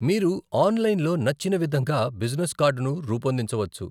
మీరు ఆన్లైన్లో నచ్చిన విధంగా బిజినెస్ కార్డును రూపొందించవచ్చు.